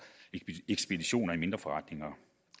ekspeditioner i mindre forretninger